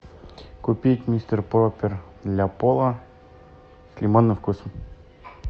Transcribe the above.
купить мистер пропер для пола с лимонным вкусом